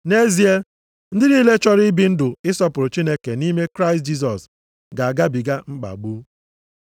Nʼezie, ndị niile chọrọ ibi ndụ ịsọpụrụ Chineke nʼime Kraịst Jisọs ga-agabiga mkpagbu.